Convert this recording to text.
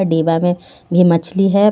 डिबा मे भी मछली हे.